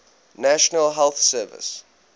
national health service